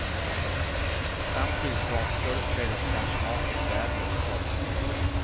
Samtidigt var skådespelerskans make färdig med betalningen.